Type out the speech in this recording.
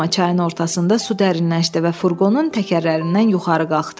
Amma çayın ortasında su dərinləşdi və furqonun təkərlərindən yuxarı qalxdı.